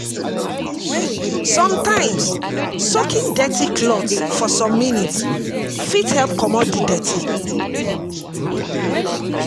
Sometimes, soaking dirty cloth for some minutes fit help comot di dirty